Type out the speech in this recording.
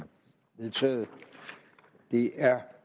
vedtaget det er